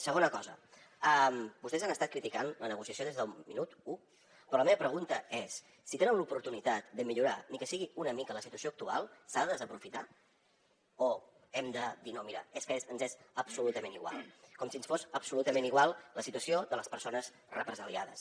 segona cosa vostès han estat criticant la negociació des del minut u però la meva pregunta és si tenen l’oportunitat de millorar ni que sigui una mica la situació actual s’ha de desaprofitar o hem de dir no mira és que ens és absolutament igual com si ens fos absolutament igual la situació de les persones represaliades